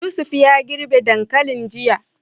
Yusuf ya girbe dankalin jiya.